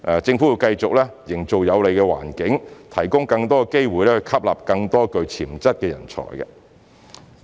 政府會繼續營造有利環境，提供更多機會以吸納更多具潛質的人才。